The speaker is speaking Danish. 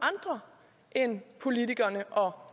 af end politikerne og